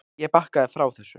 Ég bakkaði frá þessu.